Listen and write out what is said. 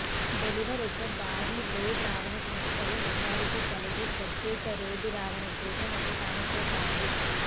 deliver ఒక భారీ load రవాణా సంస్థలు మెజారిటీ కలిగి ప్రత్యేక రోడ్డు రవాణా కోసం ఒక సమస్య కాదు